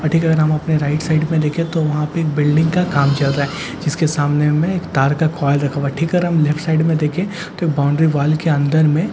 ठीक हम अपने राइट साइड में देखें तो वहां पे एक बिल्डिंग का काम चल रहा है जिसके सामने में एक तार का कॉयल रखा हुआ है ठीक अपने लेफ्ट साइड में देखे तो बाउंड्री वॉल के अंदर में --